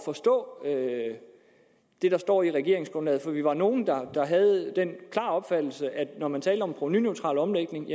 forstå det der står i regeringsgrundlaget for vi var nogle der havde den klare opfattelse at når man talte om en provenuneutral omlægning